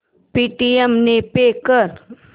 Paytm ने pay कर